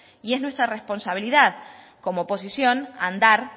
y es nuestra responsabilidad como oposición andar